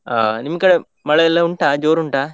ಅಹ್ ನಿಮ್ ಕಡೆ ಮಳೆ ಎಲ್ಲ ಉಂಟಾ ಜೋರ್ ಉಂಟಾ?